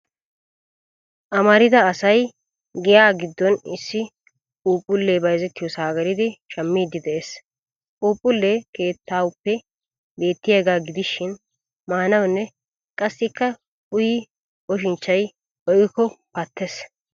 Amarida I say giyaa giddon issi phuuphullee bayizettiyoosaa gelidi shammiiddi de'es. Phuuphullee kuttuwaappe beettiyaagaa gidishin maanawunne qassikka uyin oshinchchay oyqqikkokka pattes.